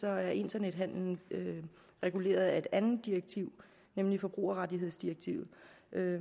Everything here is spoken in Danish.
er internethandelen reguleret af et andet direktiv nemlig forbrugerrettighedsdirektivet